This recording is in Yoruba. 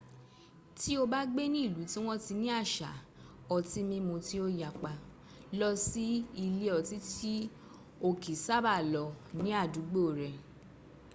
tí o bá gbé ní ìlú tí wọ́n ti ni àṣà otí mímu tí ó yapa lọ sí ilé ọtí tí o kìí ṣába lọ ní àdúgbò rẹ